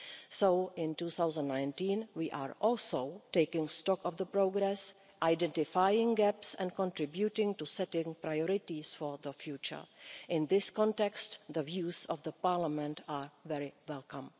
So in 2019, we are also taking stock of the progress, identifying gaps and contributing to setting priorities for the future. In this context, the views of Parliament are very welcome.